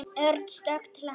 Örn stökk til hans.